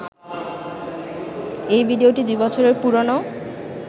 এই ভিডিওটি দুই বছরের পুরনো